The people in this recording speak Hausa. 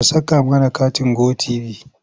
Ka saka mana katin Go tv?